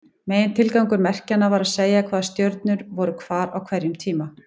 Megintilgangur merkjanna var að segja hvaða stjörnur voru hvar á hverjum tíma.